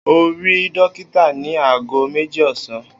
O óò rí dókítà ní aago méjì ò̩sán!